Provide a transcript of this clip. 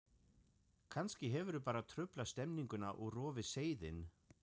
Kannski hefðirðu bara truflað stemninguna og rofið seiðinn.